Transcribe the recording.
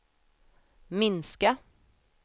minska